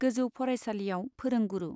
गेजौ फरायसालियाव फोरोंगुरु।